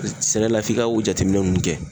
Sɛnɛ la f'i ka o jateminɛ nunnu kɛ.